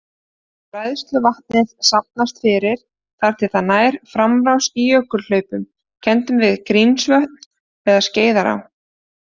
Bræðsluvatnið safnast fyrir þar til það nær framrás í jökulhlaupum kenndum við Grímsvötn eða Skeiðará.